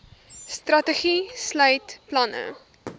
strategie sluit planne